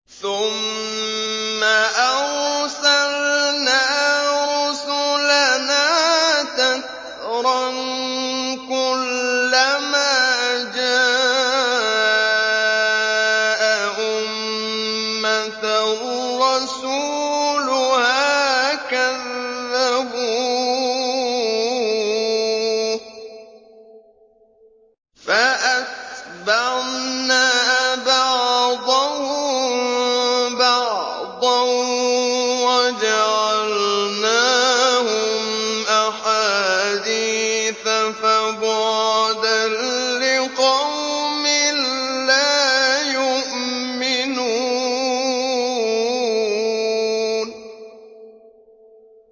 ثُمَّ أَرْسَلْنَا رُسُلَنَا تَتْرَىٰ ۖ كُلَّ مَا جَاءَ أُمَّةً رَّسُولُهَا كَذَّبُوهُ ۚ فَأَتْبَعْنَا بَعْضَهُم بَعْضًا وَجَعَلْنَاهُمْ أَحَادِيثَ ۚ فَبُعْدًا لِّقَوْمٍ لَّا يُؤْمِنُونَ